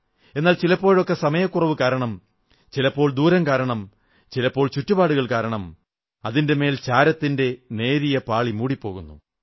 എന്നാൽ ചിലപ്പോഴൊക്കെ സമയക്കുറവുകാരണം ചിലപ്പോൾ ദൂരം കാരണം ചിലപ്പോൾ ചുറ്റുപാടുകൾ കാരണം അതിന്റെമേൽ ചാരത്തിന്റെ നേരിയ പാളി മൂടിപ്പോകുന്നു